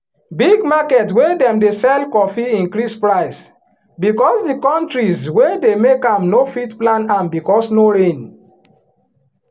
big market wey dem dey sell coffee increase price because the countries wey dey make am no fit plant am because no rain.